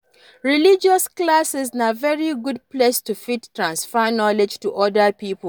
Religious classes na very good place to fit transfer knowledge to oda pipo